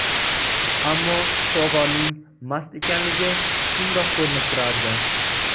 Ammo shifokorning mast ekanligi shundoq ko‘rinib turardi.